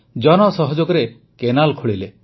ଜନସହଯୋଗରେ canal ଖୋଳିଲେ